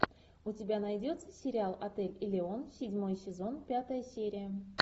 у тебя найдется сериал отель элеон седьмой сезон пятая серия